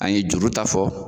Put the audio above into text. A ye juru ta fɔ.